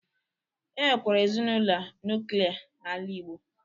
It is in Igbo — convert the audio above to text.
E nwekwara ezinaụlọ nuklia n'ala igbo